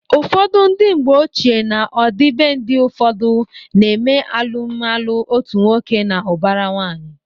Ụfọdụ ndị mgbeochie na ọdịbendị ụfọdụ na eme alụmalụ otu nwoke na ụbara nwanyị